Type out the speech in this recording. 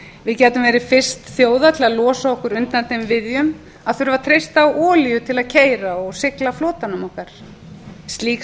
við gætum verið fyrst þjóða til að losa okkur undir þeim viðjum að þurfa að treysta á olíu til að keyra og sigla flotanum okkar slíkt